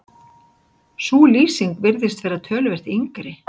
sú lýsing virðist vera töluvert yngri